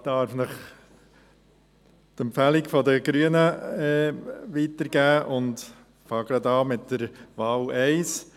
Ich darf Ihnen die Empfehlung der Grünen weitergeben und beginne mit der Wahl 1: